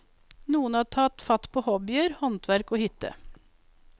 Noen tar fatt på hobbyer, håndverk og hytte.